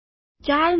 ચાર નકલો